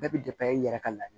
Bɛɛ bɛ i yɛrɛ ka la